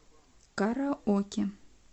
караоке